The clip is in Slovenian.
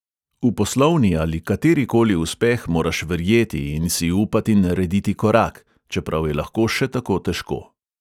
V poslovni ali kateri koli uspeh moraš verjeti in si upati narediti korak, čeprav je lahko še tako težko.